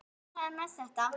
Lillý: Ánægður með þetta?